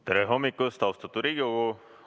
Tere hommikust, austatud Riigikogu!